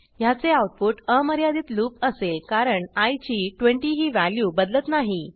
ह्याचे आऊटपुट अमर्यादित लूप असेल कारण आय ची 20 ही व्हॅल्यू बदलत नाही